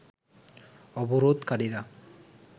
অবরোধকারীরা